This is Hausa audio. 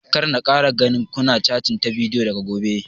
Kar na kara ganin ku na catin ta bidiyo daga gobe!